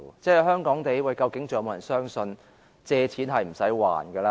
在香港，究竟是否仍有人相信借錢是不用償還的呢？